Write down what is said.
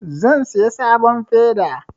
Zan saya sabon feda